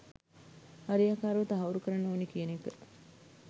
හරියාකාරව තහවුරු කරන්න ඕනි කියන එක